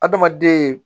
Adamaden